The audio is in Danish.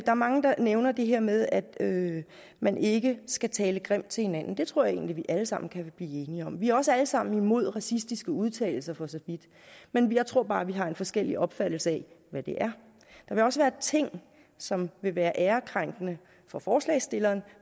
er mange der nævner det her med at at man ikke skal tale grimt til hinanden det tror jeg egentlig vi alle sammen kan blive enige om vi er også alle sammen imod racistiske udtalelser for så vidt men jeg tror bare at vi har en forskellig opfattelse af hvad det er der vil også være ting som vil være ærekrænkende for forslagsstilleren